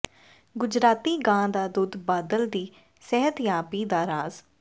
ਗੁਜਰਾਤੀ ਗਾਂ ਦਾ ਦੁੱਧ ਬਾਦਲ ਦੀ ਸਿਹਤਯਾਬੀ ਦਾ ਰਾਜ਼